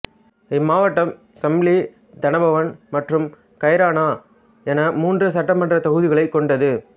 இம்மாவட்டம் சாம்லி தனபவன் மற்றும் கைரானா என மூன்று சட்டமன்றத் தொகுதிகளைக் கொண்டது